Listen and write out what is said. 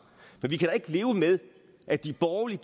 men vi kan da ikke leve med at de borgerlige